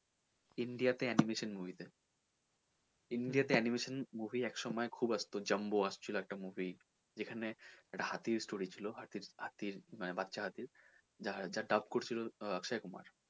India তে animation movie তে India তে aniation movie একসময় খুব আসতো jumbo আসতো ছিল একটা movie যেখানে একটা হাতি ছিলো হাতির একটা story হাতির বাচ্চা হাতির যে